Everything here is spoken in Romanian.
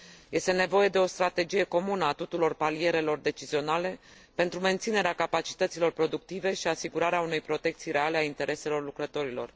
Este nevoie de o strategie comună a tuturor palierelor decizionale pentru menținerea capacităților productive și asigurarea unei protecții reale a intereselor lucrătorilor.